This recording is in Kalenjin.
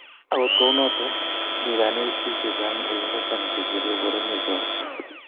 agot kuonoto, mi kanetik chechang ulinbo sang che kure boroinwek chotok.